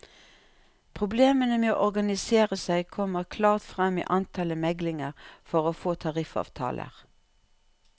Problemene med å organisere seg kommer klart frem i antallet meglinger for å få tariffavtaler.